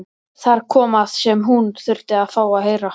Þar kom það sem hún þurfti að fá að heyra.